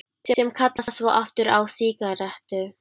Sem kalla svo aftur á sígarettu.